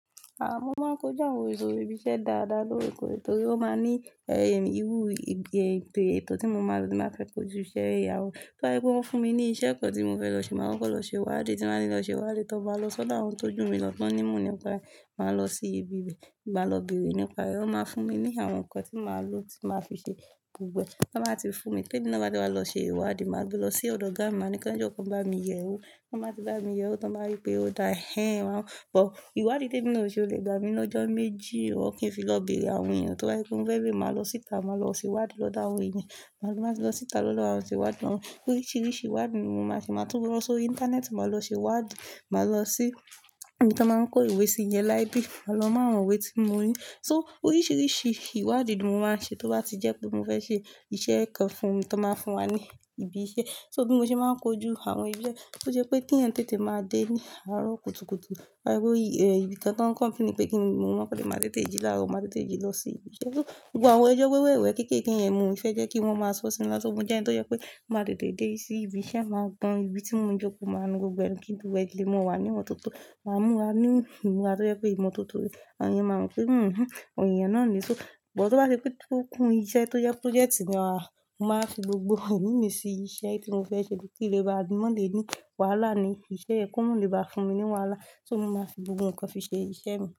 À, mo máa ń kojú àwọn ètò ibi iṣẹ́ dáadáa lóorekoore, torí ó máa ń ní, ẹ́, irú ètò tí mo máa lo ti mo ba fẹ́ kojú íṣe ya. Toba jẹ pé wọ́n fún mi ní iṣẹ́ kan tí mo fẹ́ lọ ṣe, màá kọ́kọ lọ ṣe wádìí tí màá ní lọ ṣe wádìí. Tí mo bá lọ sọ́dọ̀ àwọn tó jù mí lọ tán ní imoo nípa rẹ, máa lọ sí ibi ibẹ̀, bá lọ bèrè nípa rẹ̀, wọ́n máa fún mi ní àwọn ǹkan tí màá lò tí màá fi ṣe gbogbo ẹ̀. Ti won ba ti fún mi, ti èmi náà ba ti wa lọ ṣe ìwádìí, màá gbé lọ sí ọ̀dọ̀ ọ̀gá, màá ní kí wọ́n jọ́kòó ki won bá mi yẹ̀ wo. Ti won ti bá mi yẹ̀ wo, ti wọ́n bá wípé ó da hẹ́n. Ọ̀, ìwádìí tèmi ni ò ṣe ó lè gba mi lọ́jọ́ méjì, kì í fi lọ bèrè àwọn èèyàn. Torí pé mo fẹ́ lè máa lọ síta, màá lọ sí wádìí lọ́dọ̀ àwọn èèyàn. Màá máa sì lọ síta lọ́dọ̀ àwọn tí wádìí wọn. Oríṣìíríṣìí ìwádìí ni mo máa sì máa tún lọ sórí íńtánẹ́ẹ̀tì, màá lọ ṣe wádìí, màá lọ sí ibi tí wọ́n ń kó ìwé sí yẹn library, màá lọ mọ àwọn ìwé tí mo ní. So oríṣìíríṣìí ìwádìí ni mo máa ń ṣe, tó bá ti jẹ́ pé mo fẹ́ ṣe iṣẹ́ kan fún mi tí wọ́n máa ń fún wa ní ibi iṣẹ́. So bí mo ṣe máa ń kojú àwọn iṣẹ́ tó jẹ́ pé tí ẹnì tètè máa dé ní àárọ̀ kùtùkùtù, torí pé, ẹ́, ibi kan tán kọ́npénì pẹ́kín, mo máa pẹ́ dè, máa tètè jí láàárọ̀, màá tètè jí lọ sí ibi iṣẹ́. So gbogbo àwọn ẹjọ́ wẹ́wẹ́wẹ, kéékée yẹn, mo ò fẹ́ jẹ́ kí wọ́n máa sọ̀ sí mi lásán. Mo jẹ́ ẹni tó jẹ́ pé màá tètè dé sí ibi iṣẹ́, màá gban ibi tí mo ń jókòó, màá nu gbogbo ẹ̀. Kí gbogbo ẹ, ki n le máa wa ní ìmọ̀tótó, máa múra ní ìmúra ti jẹ́ pé ìmọ̀totó ni. Àwọn èèyàn máa ń sọ fún mi, "Hmm, àwọn eeyàn náà ni." So, bọ̀ tó bá ṣe pé tókùn iṣẹ́ tó jẹ́ projẹ́ẹ̀tì ni, à, mo máa fi gbogbo èmi mi sí iṣẹ́ tí mo fẹ́ ṣe ni ki n le ba máa le ní wàhálà ni. Ìṣe ẹ́ ko ma lè bá fún mi ní wàhálà, so mo máa fi gbogbo ǹkan fi ṣe iṣẹ́ mi.